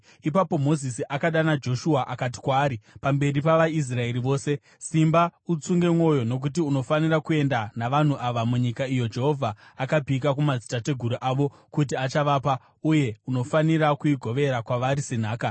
Ipapo Mozisi akadana Joshua akati kwaari, pamberi pavaIsraeri vose, “Simba utsunge mwoyo, nokuti unofanira kuenda navanhu ava munyika iyo Jehovha akapika kumadzitateguru avo kuti achavapa, uye unofanira kuigovera kwavari senhaka.